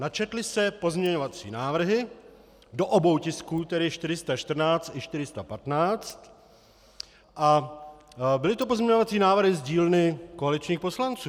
Načetly se pozměňovací návrhy do obou tisků, tedy 414 i 415, a byly to pozměňovací návrhy z dílny koaličních poslanců.